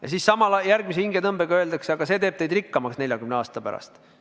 Ja samal ajal järgmise hingetõmbega öeldakse, aga see teeb teid rikkamaks 40 aasta pärast.